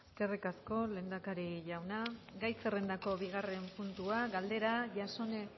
eskerrik asko lehendakari jauna gai zerrendako bigarren puntua galdera jasone